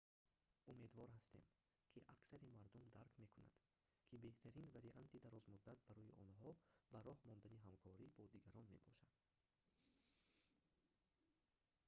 умедвор ҳастем ки аксари мардум дарк мекунад ки беҳтарин варианти дарозмуддат барои онҳо ба роҳ мондани ҳамкорӣ бо дигарон мебошад